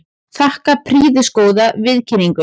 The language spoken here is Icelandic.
Þakka prýðisgóða viðkynningu.